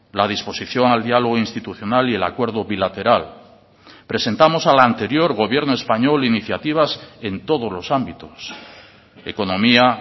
la disposición al diálogo institucional y el acuerdo bilateral presentamos al anterior gobierno español iniciativas en todos los ámbitos economía